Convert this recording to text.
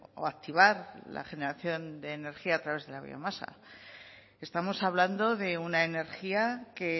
o activar la generación de energía a través de la biomasa estamos hablando de una energía que